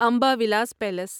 Amba Vilas palace